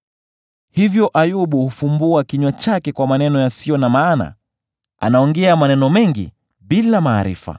Hivyo Ayubu hufumbua kinywa chake kwa maneno yasiyo na maana; anaongea maneno mengi bila maarifa.”